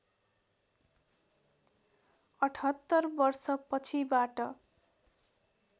७८ वर्ष पछिबाट